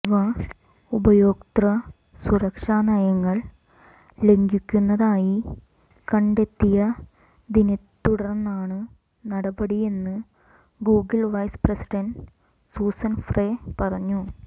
ഇവ ഉപയോക്തൃ സുരക്ഷാ നയങ്ങൾ ലംഘിക്കുന്നതായി കണ്ടെത്തിയതിനെത്തുടർന്നാണ് നടപടിയെന്ന് Google vice president Suzanne Frey പറഞ്ഞു